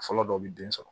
Fɔlɔ dɔ bi den sɔrɔ